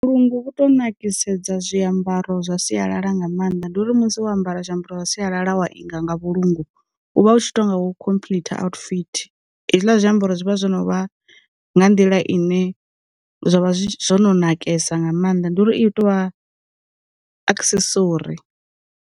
Vhu lungu vhu to nakiseda zwi ambaro zwa sialala nga maanḓa ndi uri musi o ambara zwiambaro zwa sialala wa inga nga vhulungu, u vha u tshi to nga khomphḽitha outfit. Hezwiḽa zwiambaro zwi vha zwo no vha nga nḓila ine zwavha zwi zwono nakesa nga maanḓa ndi uri i tovha aksesori.